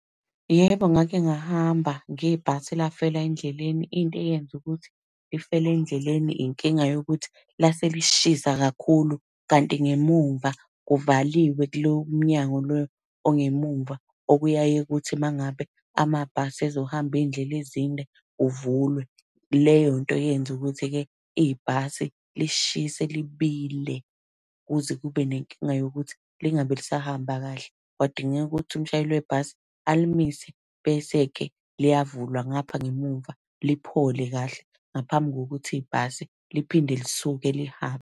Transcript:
Yebo, ngake ngahamba ngebhasi elafela endleleni. Into eyenza ukuthi lifele endleleni inkinga yokuthi lase lishisa kakhulu, kanti ngemuva kuvaliwe kulo mnyango lo ongemumva, okuyaye kuthi uma ngabe amabhasi ezohamba iy'ndlela ezinde uvulwe. Leyo nto yenza ukuthi-ke ibhasi lishise libile kuze kube nenkinga yokuthi lingabe lisahamba kahle. Kwadingeka ukuthi umshayeli webhasi, alimise, bese-ke liyavulwa ngapha ngemumva liphole kahle, ngaphambi kokuthi ibhasi liphinde lisuke lihambe.